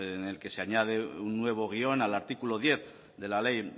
en el que se añade un nuevo guión al artículo diez de la ley